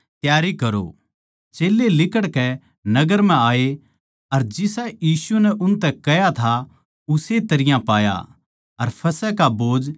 चेल्लें लिकड़कै नगर म्ह आये अर जिसा यीशु नै उनतै कह्या था उस्से तरियां पाया अर फसह का भोज त्यार करया